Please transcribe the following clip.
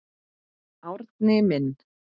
Árni minn.